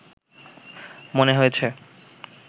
মনে হয়েছে